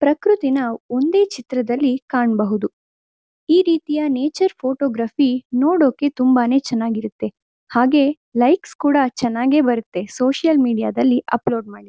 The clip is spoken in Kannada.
ಪೃಕೃತಿನ ಒಂದೇ ಚಿತ್ರದಲ್ಲಿ ಕಾಣಬಹುದು ಈ ರೀತಿಯ ನೇಚರ್ ಫೋಟೋಗ್ರಫಿ ನೋಡೋಕೆ ತುಂಬಾನೇ ಚೆನ್ನಾಗಿರತ್ತೆ ಹಾಗೆ ಲೈಕ್ ಸ್ ಕೂಡ ಚೆನ್ನಾಗೆ ಬರುತ್ತೆ ಸೋಶಿಯಲ್ ಮೀಡಿಯಾ ದಲ್ಲಿ ಅಪ್ಲೋಡ್ ಮಾಡಿದ್ರೆ.